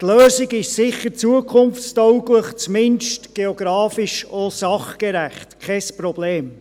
Die Lösung ist sicher zukunftstauglich und zumindest geografisch auch sachgerecht, kein Problem.